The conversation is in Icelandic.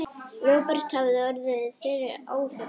Róbert hafði orðið fyrir áfalli.